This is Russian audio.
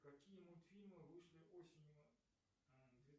какие мультфильмы вышли осенью